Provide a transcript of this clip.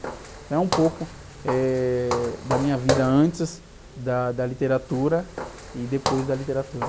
Então é um pouco, eh, da minha vida antes da, da literatura e depois da literatura.